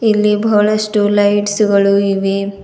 ಇಲ್ಲಿ ಬಹಳಷ್ಟು ಲೈಟ್ಸ್ ಗಳು ಇವೆ.